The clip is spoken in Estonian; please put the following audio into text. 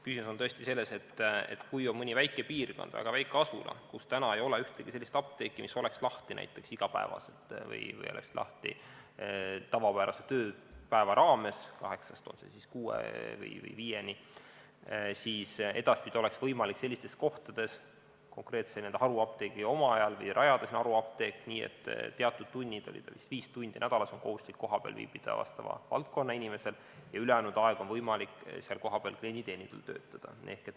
Küsimus on tõesti selles, et kui on mõni väike piirkond, väga väike asula, kus ei ole ühtegi sellist apteeki, mis oleks lahti näiteks iga päev või tavapärase tööpäeva raames kella 8-st kella 6-ni või 5-ni, siis edaspidi oleks võimalik sellistes kohtades konkreetsel haruapteegi omajal rajada sinna haruapteek, nii et teatud tunnid, kas või viis tundi nädalas, on kohustuslik kohapeal viibida vastava valdkonna inimesel ja ülejäänud ajal on võimalik klienditeenindajal seal kohapeal töötada.